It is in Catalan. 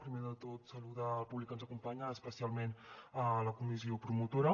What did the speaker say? primer de tot saludar el públic que ens acompanya especialment la comissió promotora